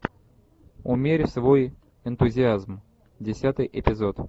умерь свой энтузиазм десятый эпизод